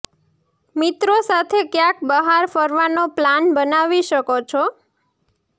મિત્રો સાથે કયાંક બહાર ફરવાનો પ્લાન બનાવી શકો છો